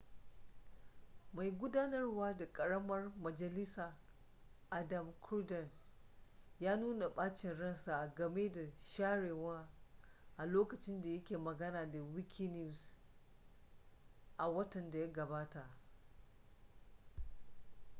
mai gudanarwa na ƙaramar majalisa adam cuerden ya nuna ɓacin ransa a game da sharewa a lokacin da ya ke magana da wikinews a watan da ya gabata